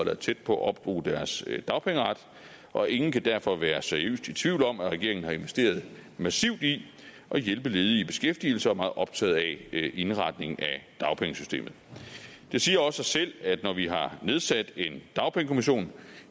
er tæt på at opbruge deres dagpengeret og ingen kan derfor være seriøst i tvivl om at regeringen har investeret massivt i at hjælpe ledige i beskæftigelse og er meget optaget af indretningen af dagpengesystemet det siger også sig selv at når vi har nedsat en dagpengekommission